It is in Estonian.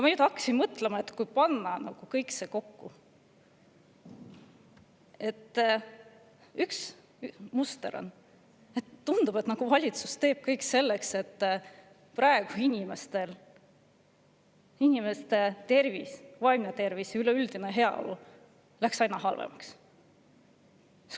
Ma hakkasin mõtlema, et kui panna see kõik kokku, siis on ühesugust mustrit: tundub, et valitsus teeb praegu kõik selleks, et inimeste tervis, vaimne tervis ja üleüldine heaolu läheksid aina halvemaks.